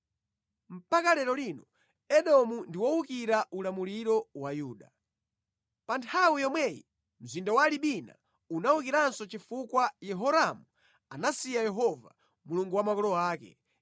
Mpaka lero lino Edomu ndi wowukira ulamuliro wa Yuda. Pa nthawi yomweyi, mzinda wa Libina unawukiranso chifukwa Yehoramu anasiya Yehova, Mulungu wa makolo ake.